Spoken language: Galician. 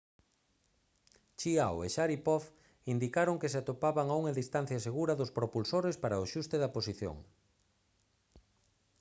chiao e sharipov indicaron que se atopaban a unha distancia segura dos propulsores para o axuste da posición